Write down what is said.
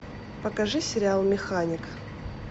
покажи сериал механик